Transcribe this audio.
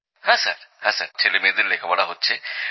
হ্যাঁ স্যার ছেলেমেয়েদের লেখাপড়া হচ্ছে